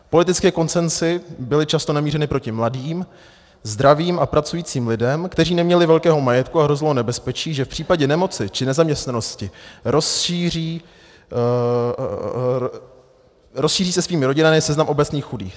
Politické konsenzy byly často namířeny proti mladým, zdravým a pracujícím lidem, kteří neměli velkého majetku, a hrozilo nebezpečí, že v případě nemoci či nezaměstnanosti rozšíří se svými rodinami seznam obecních chudých.